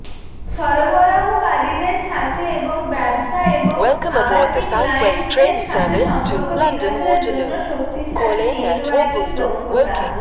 সরবরাহকারীদের সাথে এবং ব্যবসা এবং আবাসিক ক্লায়েন্টদের সাথে সম্পর্ক বিকাশের জন্য শক্তিশালী নেটওয়ার্কিং দক্ষতা